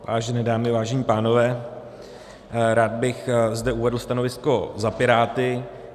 Vážené dámy, vážení pánové, rád bych zde uvedl stanovisko za Piráty.